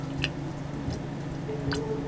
ਹਮ ਹਮ ਤੇ ਉਹ